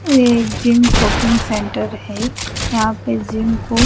ये एक gym coaching centre है यहा पे जिम को--